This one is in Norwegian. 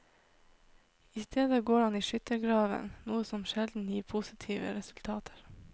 I stedet går han i skyttergraven, noe som sjelden gir positive resultater.